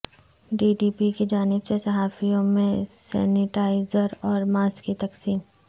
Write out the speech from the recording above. T D P کی جانب سے صحافیوں میں سنیٹائزراور ماسک کی تقسیم